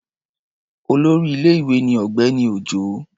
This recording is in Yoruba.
Olórí ilé-ìwé ni Ọ̀gbẹ́ni Òjó.